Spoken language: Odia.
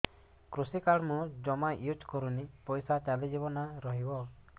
କୃଷି କାର୍ଡ ମୁଁ ଜମା ୟୁଜ଼ କରିନି ପଇସା ଚାଲିଯିବ ନା ରହିବ